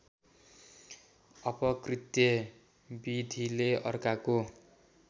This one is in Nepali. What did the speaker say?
अपकृत्य विधिले अर्काको